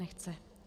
Nechce.